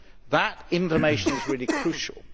That information is really crucial.